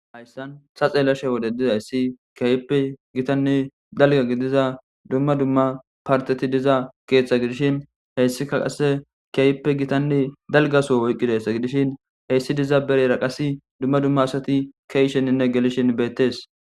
Hayssan saxeelashe wode dizayssi kiyaype gitanne dalga gidiza dumma dumma parteti diza keeththa gidishin heyssika qasse kiyawppe gitanne dalgaso woyqqidessa gidishin heyssi diza bereraqasi dumma dumma asati keysheninne gelishin beettes.